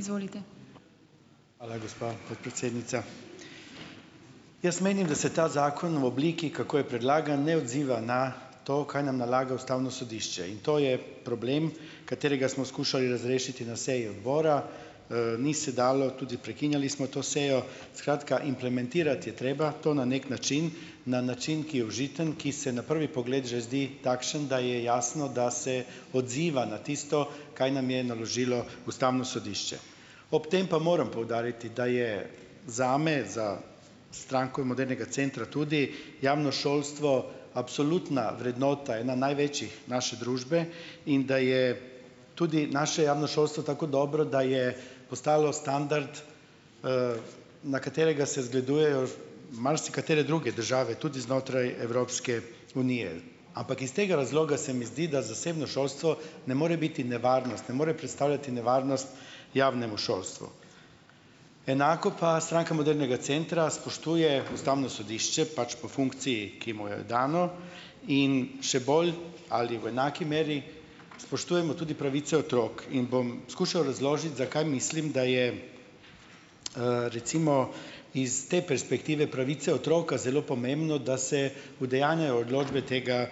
Izvolite. Hvala, gospa podpredsednica. Jaz menim, da se ta zakon v obliki, kako je predlagan, ne odziva na to, kaj nam nalaga ustavno sodišče, in to je problem, katerega smo skušali razrešiti na seji odbora, ni se dalo, tudi prekinjali smo to sejo, skratka, implementirati je treba to na neki način, na način, ki je užiten, ki se na prvi pogled že zdi takšen, da je jasno, da se odziva na tisto, kaj nam je naložilo ustavno sodišče, ob tem pa morem poudariti, da je zame, za Stranko modernega centra, tudi javno šolstvo absolutna vrednota, ena največjih naše družbe, in da je tudi naše javno šolstvo tako dobro, da je postalo standard, na katerega se zgledujejo marsikatere druge države tudi znotraj Evropske unije, ampak iz tega razloga se mi zdi, da zasebno šolstvo ne more biti nevarnost, ne more predstavljati nevarnost javnemu šolstvu, enako pa Stranka modernega centra spoštuje ustavno sodišče pač po funkciji, ki mu je dano, in še bolj ali v enaki meri spoštujemo tudi pravico otrok, in bom skušal razložiti, zakaj mislim, da je, recimo iz te perspektive pravice otroka zelo pomembno, da se udejanjajo odločbe tega,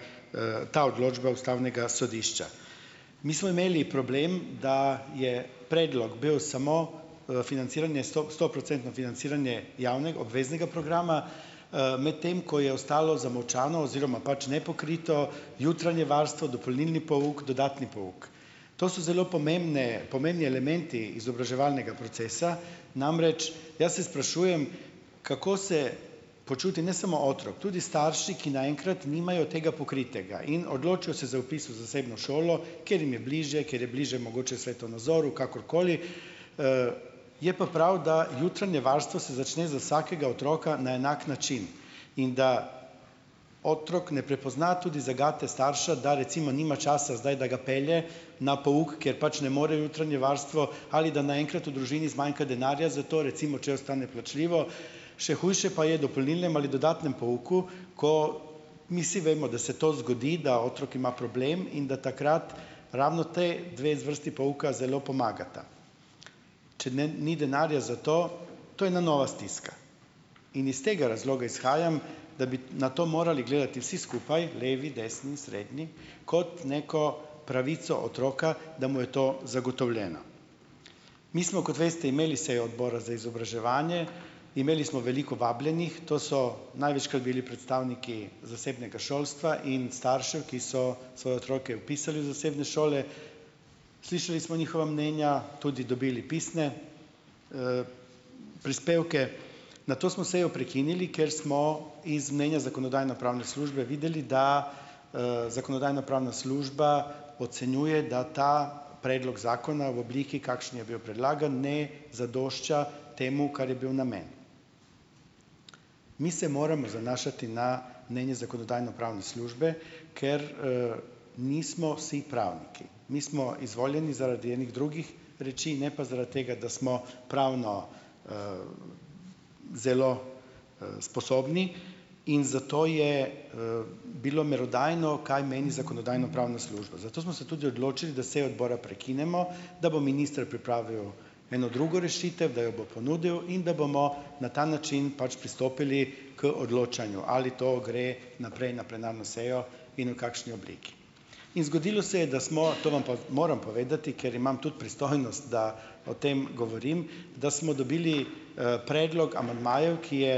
ta odločba ustavnega sodišča, mi smo imeli problem, da je predlog bil samo, financiranje stoprocentno financiranje obveznega programa, medtem ko je ostalo zamolčano oziroma pač nepokrito jutranje varstvo, dopolnilni pouk, dodatni pouk, to so zelo pomembne, pomembni elementi izobraževalnega procesa, namreč, jaz se sprašujem, kako se počuti ne samo otrok, tudi starši, ki naenkrat nimajo tega pokritega in odločijo se za vpis v zasebno šolo, ker jim je bližje, ker je bližje mogoče svetonazoru, kakorkoli, je pa prav, da jutranje varstvo se začne za vsakega otroka na enak način in da otrok ne prepozna tudi zagate starša, da recimo nima časa zdaj, da ga pelje na pouk, ker pač ne more v jutranje varstvo, ali da naenkrat v družini zmanjka denarja, zato recimo če ostane plačljivo, še hujše pa je dopolnilnem ali dodatnem pouku, ko mi si vemo, da se to zgodi, da otrok ima problem in da takrat ravno ti dve zvrsti pouka zelo pomagata, če ne ni denarja za to, to je na nova stiska in iz tega razloga izhajam, da bi na to morali gledati vsi skupaj, levi, desni, srednji, kot neko pravico otroka, da mu je to zagotovljeno, mi smo, kot veste, imeli sejo odbora za izobraževanje, imeli smo veliko vabljenih, to so največkrat bili predstavniki zasebnega šolstva in staršev, ki so svoje otroke vpisali v zasebne šole, slišali smo njihova mnenja, tudi dobili pisne, prispevke nato smo sejo prekinili, ker smo in mnenja zakonodajno-pravne službe videli, da, zakonodajno-pravna služba ocenjuje, da ta predlog zakona v obliki, kakšni je bil predlagan, ne zadošča temu, kar je bil namen, mi se moramo zanašati na mnenje zakonodajno-pravne službe, ker, nismo vsi pravniki, mi smo izvoljeni zaradi enih drugih reči, ne pa zaradi tega, da smo pravno, zelo, sposobni in zato je, bilo merodajno, kaj meni zakonodajno-pravna služba, zato smo se tudi odločili, da sejo odbora prekinemo, da bo minister pripravil eno druge rešitev, da jo bo ponudil in da bomo na ta način pač pristopili k odločanju, ali to gre naprej na plenarno sejo in v kakšni obliki, in zgodilo se je, da smo, to vam pa moram povedati, ker imam tudi pristojnost, da o tem govorim, da smo dobili, predlog amandmajev, ki je,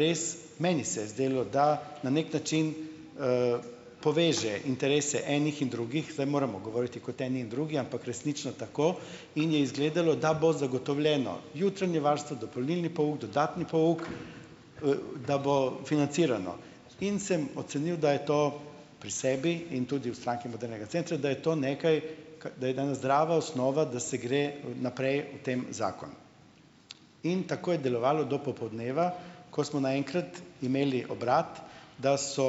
res meni se je zdelo, da na neki način, poveže interese enih in drugih, zdaj moramo govoriti kot eni in drugi, ampak resnično tako in je izgledalo, da bo zagotovljeno jutranje varstvo, dopolnilni pouk, dodatni pouk, da bo financirano, in sem ocenil, da je to pri sebi in tudi v Stranki modernega centra, da je to nekaj, da je danes zdrava osnova, da se gre naprej v tem zakonu, in tako je delovalo do popoldneva, ko smo naenkrat imeli obrat, da so,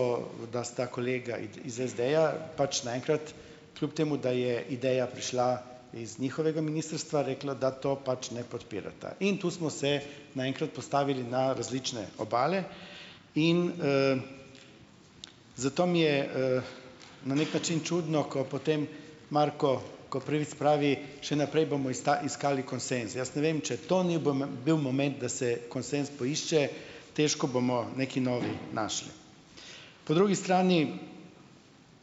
da sta kolega iz SD-ja pač naenkrat, kljub temu da je ideja prišla iz njihovega ministrstva, reklo, da to pač ne podpirata, in tu smo se naenkrat postavili na različne obale in, zato mi je, na neki način čudno, ko potem Marko Koprivec pravi: "Še naprej bomo iskali konsenz jaz ne vem, če to ni bil moment, da se konsenz poišče." Težko bomo neki novi našli, po drugi strani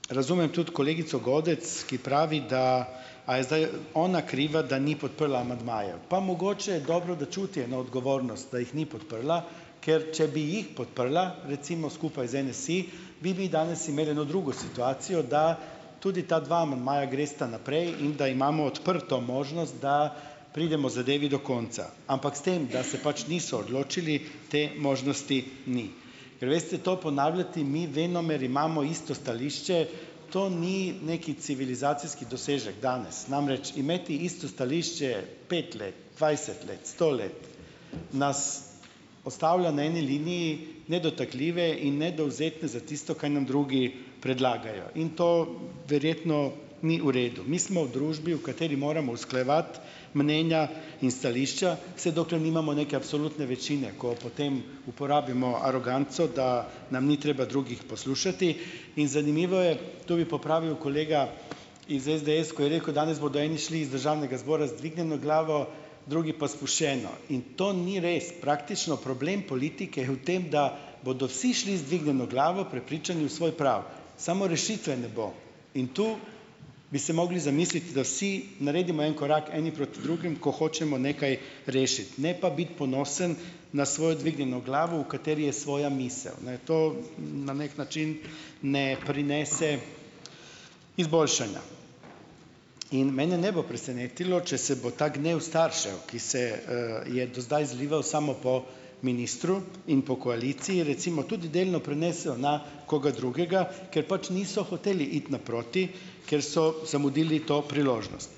razumem tudi kolegico Godec, ki pravi, da a je zdaj ona kriva, da ni podprla amandmajev, pa mogoče dobro, da čuti na odgovornost, da jih ni podprla, ker če bi jih podprla, recimo skupaj z NSi, bi mi danes imeli eno drugo situacijo, da tudi ta dva amandmaja gresta naprej in da imamo odprto možnost, da pridemo zadevi do konca, ampak s tem, da se pač niso odločili, te možnosti ni, ker, veste, to ponavljati, mi venomer imamo isto stališče, to ni neki civilizacijski dosežek, danes namreč imeti isto stališče pet let, dvajset let, sto let, nas postavlja na eni liniji nedotakljive in nedovzetne za tisto, kaj nam drugi predlagajo, in to verjetno ni v redu, mi smo v družbi, v kateri moramo usklajevati mnenja in stališča, se dokler nimamo neke absolutne večine, ko potem uporabimo aroganco, da nam ni treba drugih poslušati, in zanimivo je, to bi popravil kolega iz SDS, ko je rekel: "Danes bodo eni šli iz državnega zbora z dvignjeno glavo, drugi pa spuščeno." In to ni res, praktično problem politike je v tem, da bodo vsi šli z dvignjeno glavo, prepričani v svoj prav, samo rešitve ne bo, in tu bi se mogli zamisliti, da vsi naredimo en korak eni proti drugim, ko hočemo nekaj rešiti, ne pa biti ponosen na svojo dvignjeno glavo, v kateri je svoja misel, naj je to na neki način ne prinese izboljšanja, in mene ne bo presenetilo, če se bo ta gnev staršev, ki se, je do zdaj zlival samo po ministru in po koaliciji, recimo tudi delno prinesel na koga drugega, ker pač niso hoteli iti naproti, ker so zamudili to priložnost,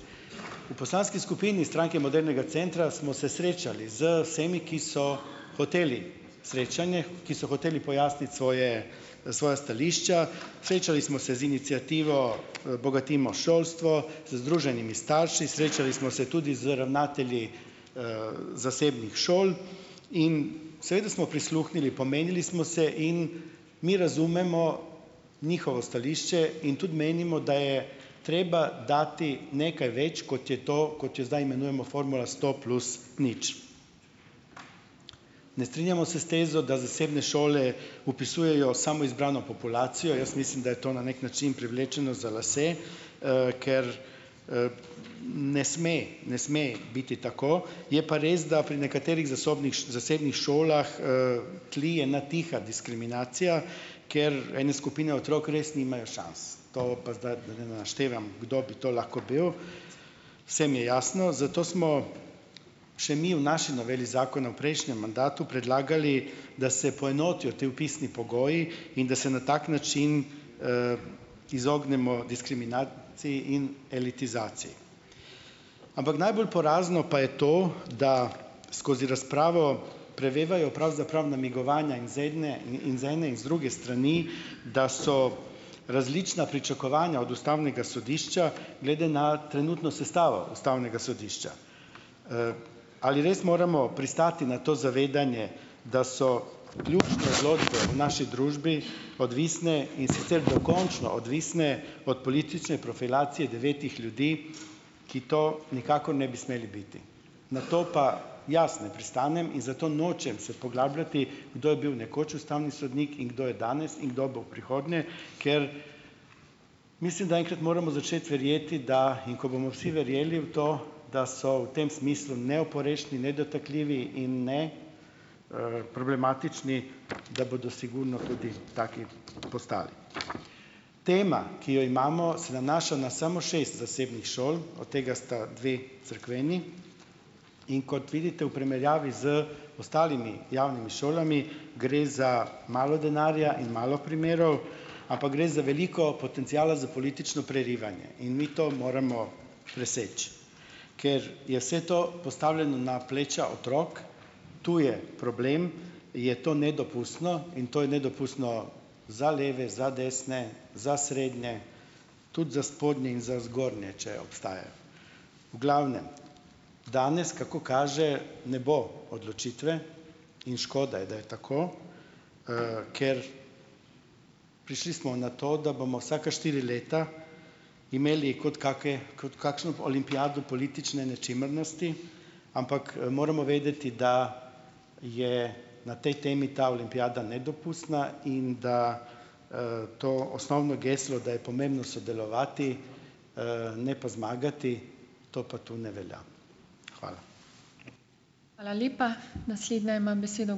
poslanski skupini Stranke modernega centra smo se srečali z vsemi, ki so hoteli srečanje, ki so hoteli pojasniti svoje, svoja stališča, srečali smo se z iniciativo Bogatimo šolstvo, z združenimi starši, srečali smo se tudi z ravnatelji, zasebnih šol in seveda smo prisluhnili, pomenili smo se in mi razumemo njihovo stališče in tudi menimo, da je treba dati nekaj več, kot je to, kot jo zdaj imenujemo formula sto plus nič, ne strinjamo se s tezo, da zasebne šole vpisujejo samo izbrano populacijo, jaz mislim, da je to na neki način privlečeno za lase, ker, ne sme, ne sme biti tako, je pa res, da pri nekaterih za zasebnih šolah, tlije ena tiha diskriminacija, ker ene skupine otrok res nimajo šans, to pa zdaj, da ne naštevam, kdo bi to lahko bil, vse mi je jasno, zato smo še mi v naši noveli zakona v prejšnjem mandatu predlagali, da se poenotijo ti vpisni pogoji in da se na tak način, izognemo diskriminaciji in elitizaciji, ampak najbolj porazno pa je to, da skozi razpravo prevevajo pravzaprav namigovanja in iz ene in druge strani, da so različna pričakovanja od ustavnega sodišča glede na trenutno sestavo ustavnega sodišča, ali res moramo pristati na to zavedanje, da so ključne odločbe v naši družbi odvisne, in sicer dokončno odvisne od politične profilacije devetih ljudi, ki to nikakor ne bi smeli biti, na to pa jaz ne pristanem in zato nočem se poglabljati, kdo je bil nekoč ustavni sodnik in kdo je danes in kdo bo v prihodnje, ker mislim, da enkrat moramo začeti verjeti, da, in ko bomo vsi verjeli v to, da so v tem smislu neoporečni nedotakljivi in ne, problematični, da bodo sigurno tudi taki postali, tema, ki jo imamo, se nanaša na samo šest zasebnih šol, od tega sta dve cerkveni, in kot vidite, v primerjavi z ostalimi javnimi šolami, gre za malo denarja in malo primerov ali pa gre za veliko potenciala za politično prerivanje, in mi to moramo preseči, ker je vse to postavljeno na pleča otrok, to je problem, je to nedopustno in to je nedopustno za leve za desne, za srednje tudi za spodnje in za zgornje, če obstajajo, v glavnem, danes, kako kaže, ne bo odločitve in škoda je, da je tako, ker prišli smo na to, da bomo vsaka štiri leta imeli kot kake kot kakšno olimpijado politične nečimrnosti, ampak moramo vedeti, da je na tej temi ta olimpijada nedopustna in da, to osnovno geslo, da je pomembno sodelovati, ne pa zmagati. To pa to ne velja, hvala. Hvala lepa, naslednja ima besedo ...